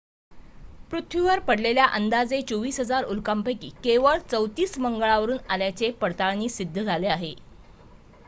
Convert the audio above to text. पृथ्वीवर पडलेल्या अंदाजे 24,000 उल्कांपैकी केवळ 34 मंगळावरून आल्याचे पडताळणीत सिद्ध झाले आहे